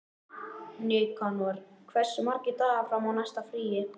Nikanor, hversu margir dagar fram að næsta fríi?